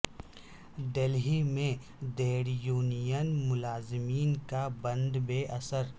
دہلی میں trade union ملازمین کا بند بے اثر